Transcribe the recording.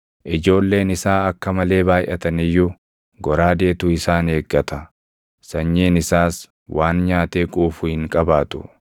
Ijoolleen isaa akka malee baayʼatan iyyuu goraadeetu isaan eeggata; sanyiin isaas waan nyaatee quufu hin qabaatu.